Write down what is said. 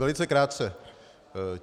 Velice krátce.